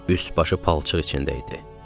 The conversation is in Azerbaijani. Üst başı palçıq içində idi.